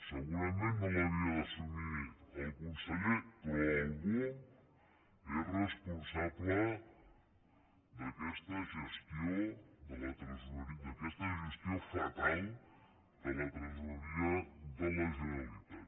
segurament no l’havia d’assumir el conseller però algú és responsable d’aquesta gestió fatal de la tresoreria de la generalitat